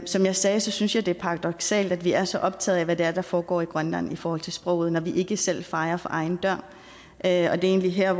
som jeg sagde synes jeg det er paradoksalt at vi er så optaget af hvad det er der foregår i grønland i forhold til sproget når vi ikke selv fejer for egen dør det er egentlig her